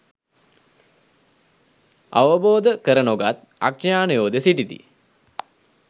අවබෝධ කර නොගත් අඥානයෝද සිටිති.